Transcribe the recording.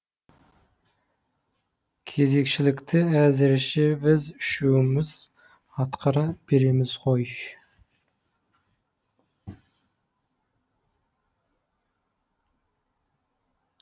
кезекшілікті әзірше біз үшеуіміз атқара береміз ғой